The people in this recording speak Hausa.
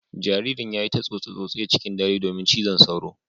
Jaririn ya yi ta tsose-tsose cikin dare domin cizon sauro.